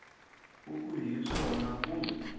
u ku hi swona kumbe